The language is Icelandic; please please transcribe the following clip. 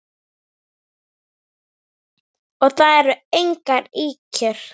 Og það eru engar ýkjur.